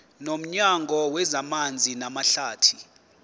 nomnyango wezamanzi namahlathi